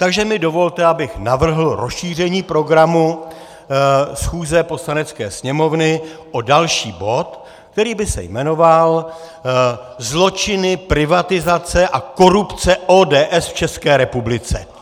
Takže mi dovolte, abych navrhl rozšíření programu schůze Poslanecké sněmovny o další bod, který by se jmenoval zločiny privatizace a korupce ODS v České republice.